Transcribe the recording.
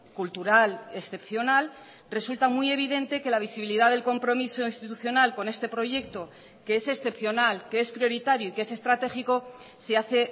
cultural excepcional resulta muy evidente que la visibilidad del compromiso institucional con este proyecto que es excepcional que es prioritario y que es estratégico se hace